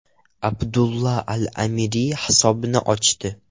Abdulla al-Amiri hisobni ochdi.